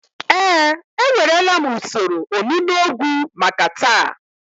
Ee, ewerela m usoro onunu ogwu maka taa